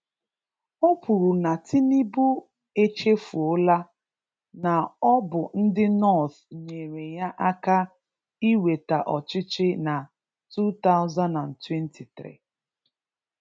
O kwuru na Tinubu echefuola na ọ bụ ndị north nyèrè yá áká inweta ọchịchị ná 2023